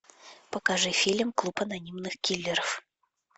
покажи фильм клуб анонимных киллеров